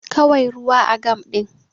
Kawai ruwa a gam din